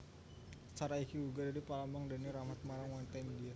Sari iki uga dadi pralambang tibane rahmat marang wanita India